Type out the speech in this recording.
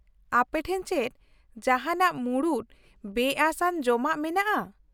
ᱟᱯᱮᱴᱷᱮᱱ ᱪᱮᱫ ᱡᱟᱦᱟᱸᱱᱟᱜ ᱢᱩᱬᱩᱫ ᱵᱮᱼᱟᱹᱥ ᱟᱱ ᱡᱚᱢᱟᱜ ᱢᱮᱱᱟᱜᱼᱟ ?